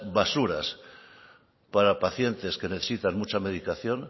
basuras para pacientes que necesitan mucha medicación